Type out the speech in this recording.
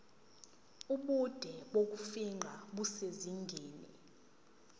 ubude bokufingqa kusezingeni